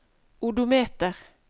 odometer